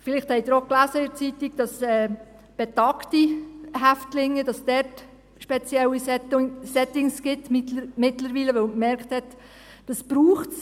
Vielleicht haben Sie in der Zeitung auch gelesen, dass es mittlerweile spezielle Settings für betagte Häftlinge gibt, weil man gemerkt hat, dass es dies braucht.